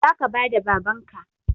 Zaka bada babanka